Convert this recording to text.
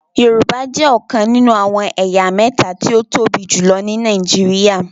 Yorùbá jẹ ọkàn nínú àwọn ẹ̀yà méta tí o tóbi jùlọ ní Nàìjíríà